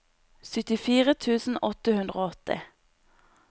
syttifire tusen åtte hundre og åtti